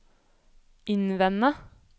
innvende